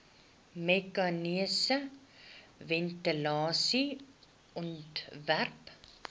meganiese ventilasie ontwerp